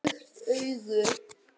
Lukt augu